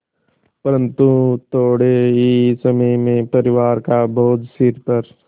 परन्तु थोडे़ ही समय में परिवार का बोझ सिर पर